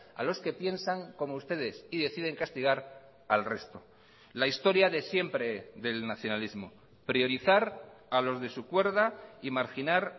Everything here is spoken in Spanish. a los que piensan como ustedes y deciden castigar al resto la historia de siempre del nacionalismo priorizar a los de su cuerda y marginar